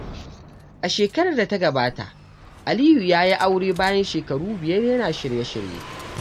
A shekarar da ta gabata, Aliyu ya yi aure bayan shekaru biyar yana shirye-shirye.